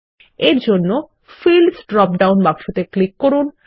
এর জন্য fields drop down বাক্সতে ক্লিক করুন